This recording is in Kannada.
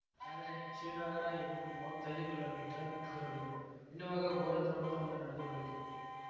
ಆದರೆ ಶ್ರೀನಗರ ಇನ್ನೂ ಮೂವತ್ತೈದು ಕಿಲೋಮೀಟರ್ ದೂರವಿದೆ ಎನ್ನುವಾಗ ಘೋರ ದುರಂತವೊಂದು ನಡೆದು ಹೋಯಿತು